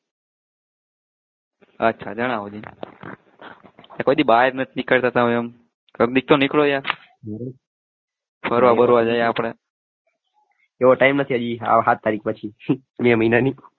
પછી બહારે જ નથી નિકડતા તમે આમ કદીક તો નીકળો યાર ફરવા બરવા જઈએ આપણે એવો time નથી હજી હાત તારીખ પછી મે મહિનાની